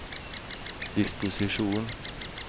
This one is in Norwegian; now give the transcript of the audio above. disposisjon